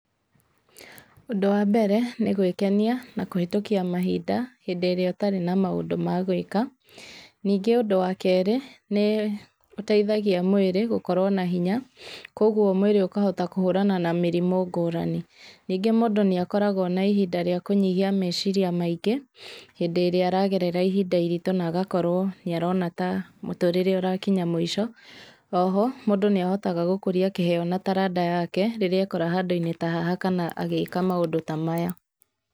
Ũndũ wa mbere nĩgwĩkenia na kũhĩtũkia mahinda hĩndĩ ĩrĩa ũtarĩ na maũndũ magwĩka, ningĩ ũndũ wa kerĩ, nĩũteithagia mwĩrĩ gũkorwo na hinya, koguo mwĩrĩ ũkahota kũhũrana na mĩrimũ ngũrani, ningĩ mũndũ nĩakoragwa na ihinda rĩa kũnyihia meciria maingĩ hĩndĩ ĩrĩa aragerera ihinda iritũ, na agakorwo nĩarona ta mũtũrĩre ũrakinya mũico, o ho mũndũ nĩahotaga gũkũria kĩheyo na taranda yake rĩrĩa ekora handũ-inĩ ta haha, kana agĩka maũndũ ta maya.